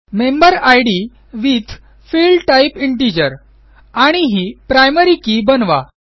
member id with field type integer आणि ही primary key बनवा